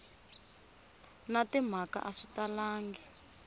na timhaka a swi talangi